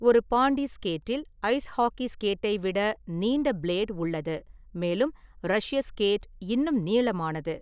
ஒரு பாண்டி ஸ்கேட்டில் ice hockey ஸ்கேட்டை விட நீண்ட பிளேடு உள்ளது, மேலும் "ரஷ்ய ஸ்கேட்" இன்னும் நீளமானது.